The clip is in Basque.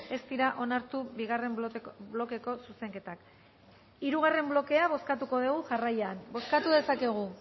ez dira onartu bigarren blokeko zuzenketak hirugarren blokea bozkatuko dugu jarraian bozkatu dezakegu